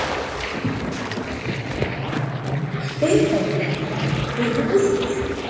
Spurningin í heild var sem hér segir: Breytist helmingunartími geislavirkra efna eftir hitastigi?